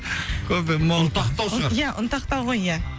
кофемол ұнтақтау шығар ұнтақтау ғой ия